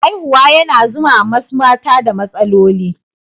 Haihuwa yana zuwa ma wasu mata da matsaloli.